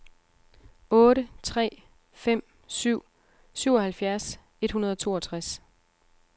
otte tre fem syv syvoghalvfjerds et hundrede og toogtres